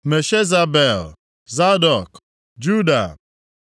Meshezabel, Zadọk, Jadua,